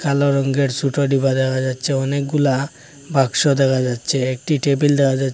কালো রঙ্গের ছোট ডিবা দেখা যাচ্ছে অনেকগুলা বাক্স দেখা যাচ্ছে একটি টেবিল দেখা যাছ --